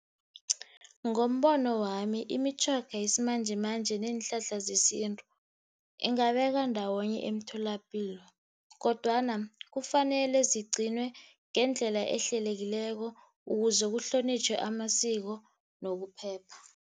Ngombono wami, imitjhoga yesimanjemanje neenhlahla zesintu ingabekwa ndawonye emtholapilo, kodwana kufanele zigcinwe ngendlela ehlelekileko ukuze kuhlonitjhwe amasiko nokuphepha.